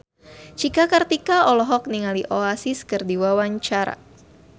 Cika Kartika olohok ningali Oasis keur diwawancara